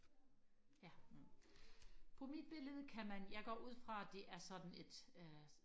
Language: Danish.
ja på mit billede kan man jeg går ud fra det er sådan et øh